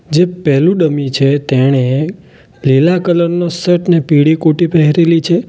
જે પહેલું ડમી છે તેણે લીલા કલર નું શર્ટ અને પીળી કોટી પહેરેલી છે.